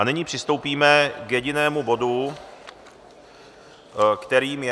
A nyní přistoupíme k jedinému bodu, kterým je